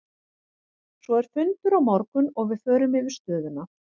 Svo er fundur á morgun og við förum yfir stöðuna.